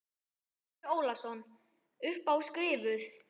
Andri Ólafsson: Upp á skrifuð?